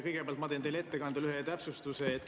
Kõigepealt ma teen ühe täpsustuse.